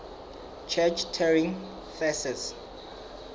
church turing thesis